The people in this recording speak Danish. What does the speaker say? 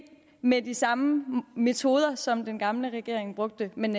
med de samme metoder som den gamle regering brugte men